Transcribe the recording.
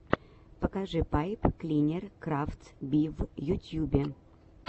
покажи пайп клинер крафтс би в ютьюбе